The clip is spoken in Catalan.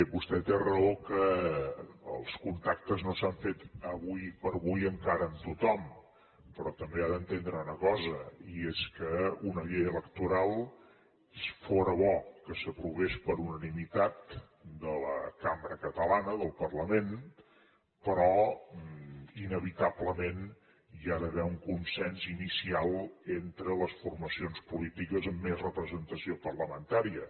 vostè té raó que els contactes no s’han fet ara com ara encara amb tothom però també ha d’entendre una cosa i és que una llei electoral fora bo que s’aprovés per unanimitat de la cambra catalana del parlament però inevitablement hi ha d’haver un consens inicial entre les formacions polítiques amb més representació parlamentària